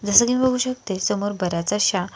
जस कि मी बघू शकते समोर बऱ्याच अश्या--